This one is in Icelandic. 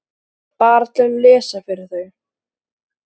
Bara til að lesa fyrir þau.